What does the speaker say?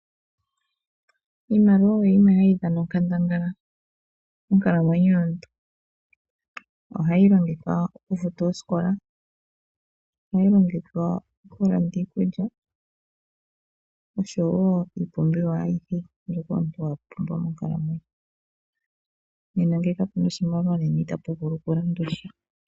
Iimaliwa oyo yimwe hayi dhana onkandangala monkalamwenyo yomuntu. Ohayi longithwa okufuta oosikola, okulanda iikulya, noshowo iipumbiwa ayihe mbyoka omuntu wapumbwa. Ngele kapuna oshimaliwa, nena itapu vulu okulandwasha.